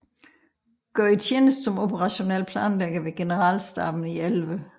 Gjorde tjeneste som operationel planlægger ved generalstaben i 11